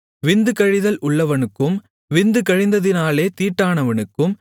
விந்து கழிதல் உள்ளவனுக்கும் விந்து கழிந்ததினாலே தீட்டானவனுக்கும்